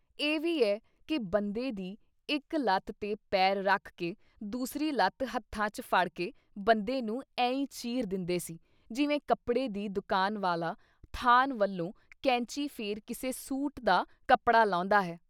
“ਇਹ ਵੀ ਐ ਕਿ ਬੰਦੇ ਦੀ ਇੱਕ ਲੱਤ ‘ਤੇ ਪੈਰ ਰੱਖ ਕੇ ਦੂਸਰੀ ਲੱਤ ਹੱਥਾਂ ‘ਚ ਫੜ ਕੇ ਬੰਦੇ ਨੂੰ ਐਂਈ ਚੀਰ ਦਿੰਦੇ ਸੀ ਜਿਵੇਂ ਕੱਪੜੇ ਦੀ ਦੁਕਾਨ ਵਾਲਾ ਥਾਨ ਨਾਲੋਂ ਕੈਂਚੀ ਫੇਰ ਕਿਸੇ ਸੂਟ ਦਾ ਕੱਪੜਾ ਲਾਹੁੰਦਾ ਹੈ।”